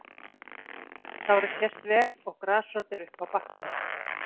Sárið sést vel og grasrót er uppi á bakkanum.